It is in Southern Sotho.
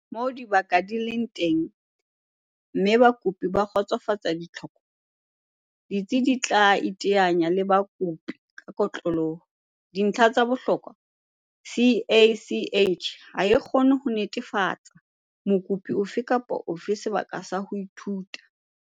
Moo dibaka di leng teng mme bakopi ba kgotsofatsa ditlhoko, ditsi di tla iteanya le bakopi ka kotloloho. Dintlha tsa bohlokwa CACH ha e kgone ho netefalletsa mokopi ofe kapa ofe sebaka sa ho ithuta.